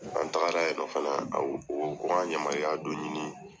An tagara yen nɔ fana, an o k'an yamariya dɔ ɲini